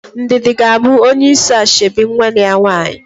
Ndidi ga abụ onye isi ashebi nwanne ya nwaanyị